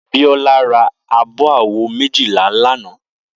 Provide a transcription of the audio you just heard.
Biola rá ábò àwó méjilá làná